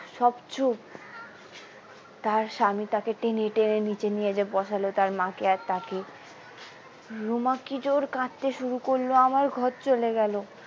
সব চুপ তার স্বামী তাকে টেনে টেনে নিচে নিয়ে যেয়ে বসালো তার মাকে আর তাকে রুমা কি জোড় কাঁদতে শুরু করলো আমার ঘর চলে গেলো।